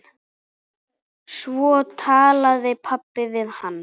Svo talaði pabbi við hann.